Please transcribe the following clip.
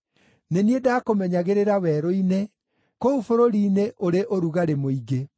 Nĩ niĩ ndaakũmenyagĩrĩra werũ-inĩ, kũu bũrũri-inĩ ũrĩ ũrugarĩ mũingĩ.